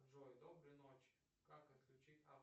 джой доброй ночи как отключить